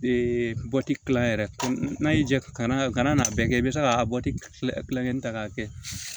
kilan yɛrɛ n'a y'i ja kana n'a bɛɛ kɛ i bɛ se ka bɔ tila tilancɛ in ta k'a kɛ